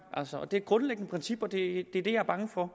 og det er et grundlæggende princip og det er det jeg er bange for